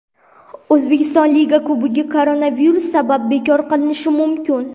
O‘zbekiston Liga Kubogi koronavirus sabab bekor qilinishi mumkin !